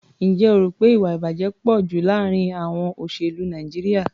Ǹjẹ́ o rò pé ìwà-ìbàjẹ́ pọ̀ jù láàárín àọn olóṣèlú Nàìjíríà?